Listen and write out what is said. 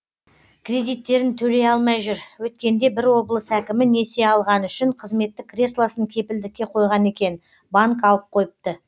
кредиттерін төлей алмай жүр өткенде бір облыс әкімі несие алғаны үшін қызметтік креслосын кепілдікке қойған екен банк алып қойыпты